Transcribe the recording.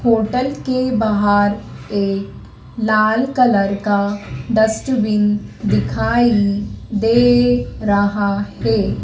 Hotel के बाहर एक लाल कलर का डस्टबिन दिखाई दे रहा है।